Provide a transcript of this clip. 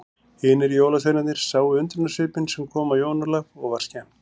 Hinir jólasveinarnir sáu undrunarsvipinn sem kom á Jón Ólaf og var skemmt.